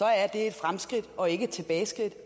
er det et fremskridt og ikke et tilbageskridt